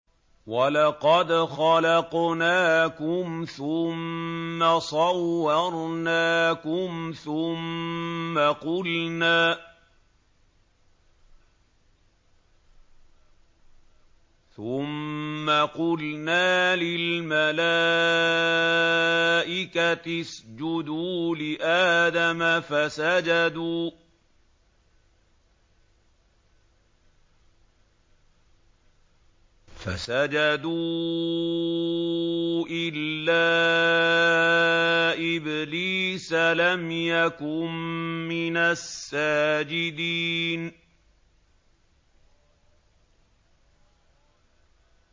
وَلَقَدْ خَلَقْنَاكُمْ ثُمَّ صَوَّرْنَاكُمْ ثُمَّ قُلْنَا لِلْمَلَائِكَةِ اسْجُدُوا لِآدَمَ فَسَجَدُوا إِلَّا إِبْلِيسَ لَمْ يَكُن مِّنَ السَّاجِدِينَ